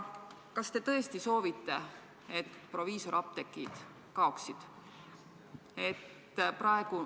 Kas te tõesti soovite, et proviisorapteegid kaoksid?